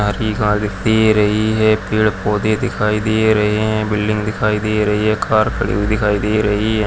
Car ही car दिखाई दे रही है पेड़ पौधे दिखाई दे रहे है बिल्डिंगे दिखाई दे रही है कार खड़ी हुई दिखाई दे रही है।